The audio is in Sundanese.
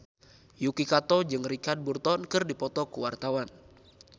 Yuki Kato jeung Richard Burton keur dipoto ku wartawan